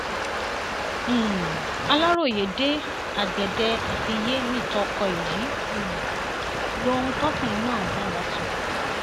um aláròye dé agbede àfiyé nìtọkọ èyí um lohun tọkùnrin náà bá wa sọ